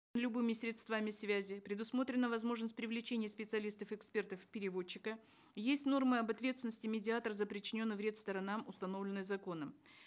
любыми средствами связи предусмотрена возможность привлечения специалистов экспертов переводчика есть норма об ответственности медиатора за причиненный вред сторонам установленный законом